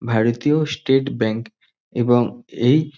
ভারতীয় State Bank এবং এই--